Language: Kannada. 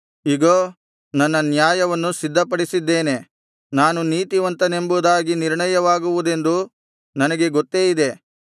ಇಗೋ ನನ್ನ ನ್ಯಾಯವನ್ನು ಸಿದ್ಧಪಡಿಸಿದ್ದೇನೆ ನಾನು ನೀತಿವಂತನೆಂಬುದಾಗಿ ನಿರ್ಣಯವಾಗುವುದೆಂದು ನನಗೆ ಗೊತ್ತೇ ಇದೆ